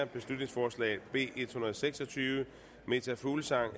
beslutningsforslag nummer b en hundrede og seks og tyve meta fuglsang